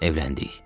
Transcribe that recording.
Evləndik.